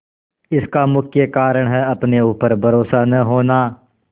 इसका मुख्य कारण है अपने ऊपर भरोसा न होना